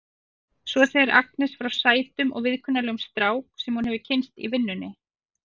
Svo segir Agnes frá sætum og viðkunnanlegum strák sem hún hefur kynnst í vinnunni.